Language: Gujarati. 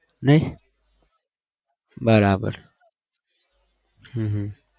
નહિ બરાબર હમમ